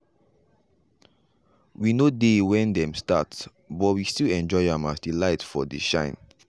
we nor dey when dem start but we still enjoy am as the light for dey shine.